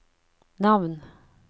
navn